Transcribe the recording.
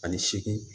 Ani seegin